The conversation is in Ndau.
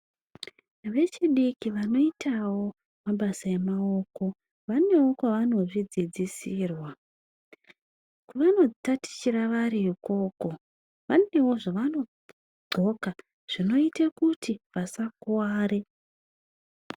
Vechidiki vanoitavo mabasa emaoko vanevo kwavanozvidzidzisirwa kwavanotatichira vari ikoko, vanevo zvavanodxoka zvinoita kuti vasakuvare.